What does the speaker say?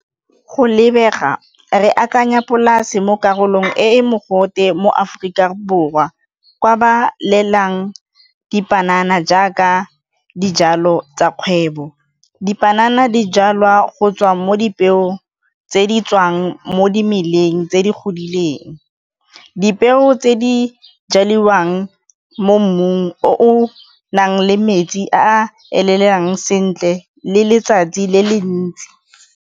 Go lebega re akanya polase mo karolong e mogote mo Aforika Borwa, kwa ba lelang dipanana jaaka dijalo tsa kgwebo. Dipanana dijalwa go tswa mo dipeong tse di tswang mo dimeleng tse di godileng, dipeo tse di jaliwang mo mmung o o nang le metsi a elelang sentle le letsatsi le le ntsi.